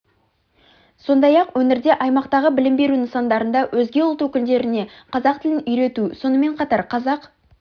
сондай-ақ өңірде аймақтағы білім беру нысандарында өзге ұлт өкілдеріне қазақ тілін үйрету сонымен қатар қазақ